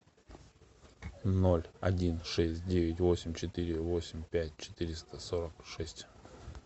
ноль один шесть девять восемь четыре восемь пять четыреста сорок шесть